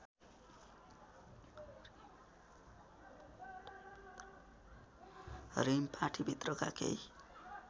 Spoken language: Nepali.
रिम पार्टीभित्रका केही